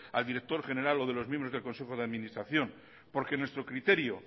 a director general o de los miembros del consejo de administración porque